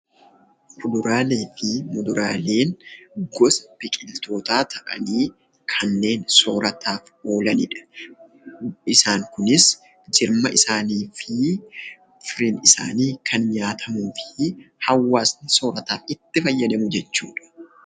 Kuduraalee fi muduraaleen gosa biqiltootaa ta'anii kanneen soorataaf oolani dha. Isaan kunis jirma isaanii fi fireen isaanii kan nyaatamuu fi hawaasni soorataaf itti fayyadamu jechuu dha.